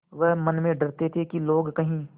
वह मन में डरते थे कि वे लोग कहीं